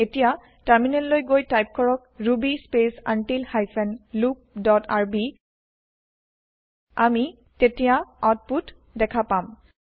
এতিয়া টাৰ্মিনেল লৈ গৈ টাইপ কৰক Ruby space until hyphen loop dot r b আমি তেতিয়া আউতপুত দেখা পাম